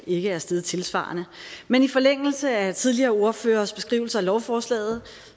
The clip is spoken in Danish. ikke er steget tilsvarende men i forlængelse af tidligere ordføreres beskrivelser af lovforslaget